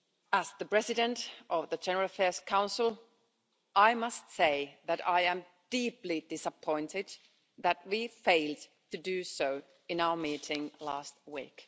As the President of the General Affairs Council, I must say that I am deeply disappointed that we failed to do so in our meeting last week.